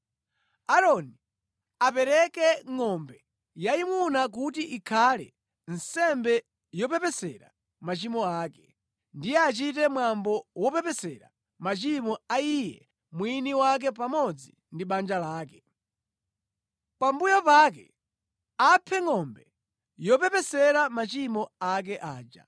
“Aaroni apereke ngʼombe yayimuna kuti ikhale nsembe yopepesera machimo ake. Ndiye achite mwambo wopepesera machimo a iye mwini wake pamodzi ndi banja lake. Pambuyo pake aphe ngʼombe yopepesera machimo ake aja.